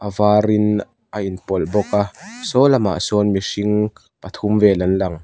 var in a in pawlh bawk a saw lamah sawn mihring pathum vel an lang.